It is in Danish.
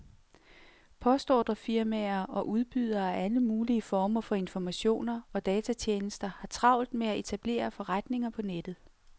Postordrefirmaer og udbydere af alle mulige former for informationer og datatjenester har travlt med at etablere forretninger på nettet.